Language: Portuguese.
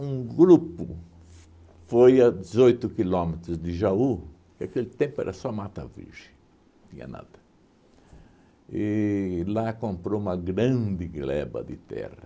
Um grupo f foi a dezoito quilômetros de Jaú que aquele tempo era só mata virgem, não tinha nada e lá comprou uma grande gleba de terra.